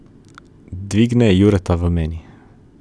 Dvigne Jureta v meni.